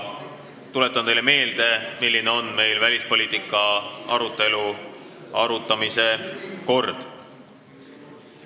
Tuletan teile meelde, milline on välispoliitika arutelu kord.